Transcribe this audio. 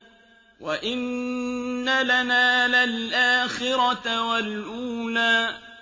وَإِنَّ لَنَا لَلْآخِرَةَ وَالْأُولَىٰ